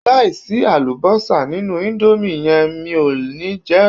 Láìsí àlùbọ́sà nínú íńdómì yẹn mi ò ní jẹ ẹ́.